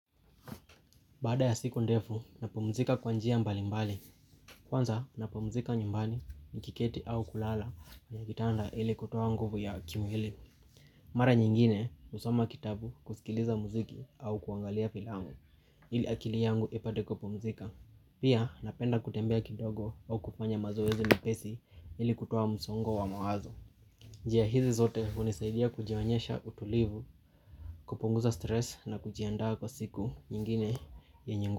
Baada ya siku ndefu, napumzika kwa njia mbali mbali. Kwanza, napumzika nyumbani, nikiketi au kulala kwa kitanda ili kutoa nguvu ya kimwili. Mara nyingine, husoma kitabu kusikiliza muziki au kuangalia filamu, ili akili yangu ipate kupumzika. Pia, napenda kutembea kidogo au kufanya mazoezi mwepesi ili kutoa msongo wa mawazo. Njia hizi zote, hunisaidia kujionyesha utulivu, kupunguza stress na kujiandaa kwa siku nyingine yenye ngu.